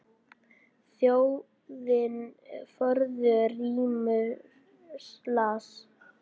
Þjóðin forðum rímur las.